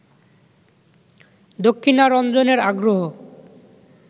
দক্ষিণারঞ্জনের আগ্রহ